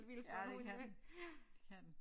Ja det kan den det kan den